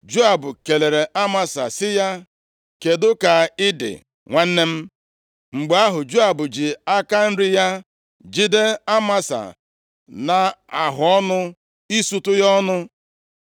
Joab kelere Amasa sị ya, “Kedụ ka ị dị nwanna m.” Mgbe ahụ, Joab ji aka nri ya jide Amasa nʼahụọnụ isutu ya ọnụ,